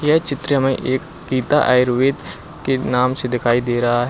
यह चित्र हमे एक गीता आयुर्वेद के नाम से दिखाई दे रहा--